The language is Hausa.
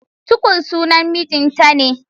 Tukur sunan mijinta ne.